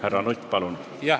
Härra Nutt, palun!